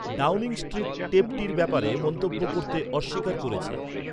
Downing Street টেপটির ব্যাপারে মন্তব্য করতে অস্বীকার করেছে।